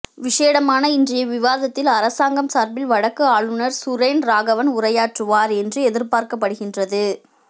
விசேடமான இன்றைய விவாதத்தில் அரசாங்கம் சார்பில் வடக்கு ஆளுநர் சுரேன் ராகவன் உரையாற்றுவார் என்று எதிர்பார்க்கப்படுகின்றது